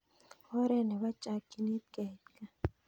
Oret nepo chakyinet keit kaa